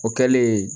O kɛlen